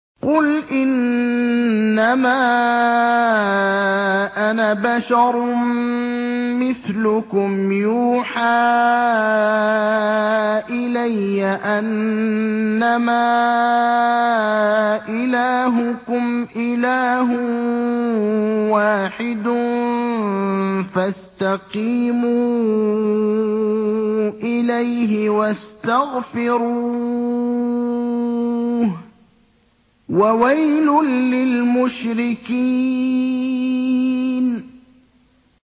قُلْ إِنَّمَا أَنَا بَشَرٌ مِّثْلُكُمْ يُوحَىٰ إِلَيَّ أَنَّمَا إِلَٰهُكُمْ إِلَٰهٌ وَاحِدٌ فَاسْتَقِيمُوا إِلَيْهِ وَاسْتَغْفِرُوهُ ۗ وَوَيْلٌ لِّلْمُشْرِكِينَ